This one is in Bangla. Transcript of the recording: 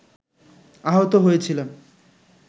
আহতও হয়েছিলাম